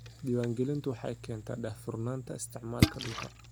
Diiwaangelintu waxay keentaa daahfurnaanta isticmaalka dhulka.